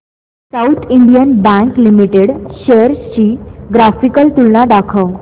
south Indian bank limited shares ची graphical तुलना दाखव